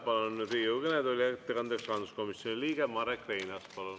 Palun Riigikogu kõnetooli ettekandeks, rahanduskomisjoni liige Marek Reinaas!